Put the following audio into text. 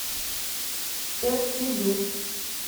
эртилю